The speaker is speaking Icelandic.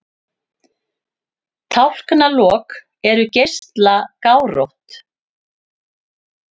Tálknalok eru geislagárótt.